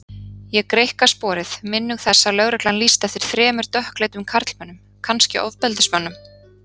Ég greikka sporið, minnug þess að lögreglan lýsti eftir þremur dökkleitum karlmönnum, kannski ofbeldismönnum.